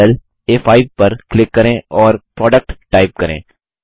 अब सेल आ5 पर क्लिक करें और प्रोडक्ट टाइप करें